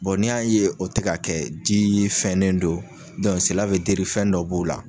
n' y'a ye o tɛ ka kɛ di fɛnnen don, fɛn dɔ b'o la.